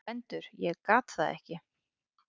GVENDUR: Ég gat það ekki!